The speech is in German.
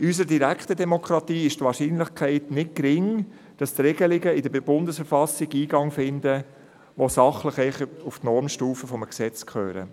In unserer direkten Demokratie ist die Wahrscheinlichkeit nicht gering, dass Regelungen in die Bundesverfassung Eingang finden, die sachlich betrachtet auf die Normstufe eines Gesetzes gehörten.